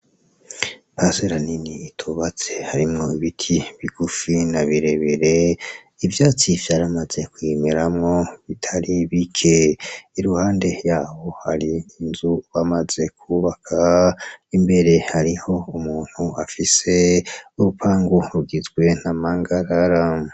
Parselle nini itubatse harimwo ibiti bigufi na birebire ivyatsi vyaramaze kuyimeramwo bitari bike iruhande yaho hari inzu bamaze kubaka imbere hariho umuntu afise urupangu rugizwe na mpangarara.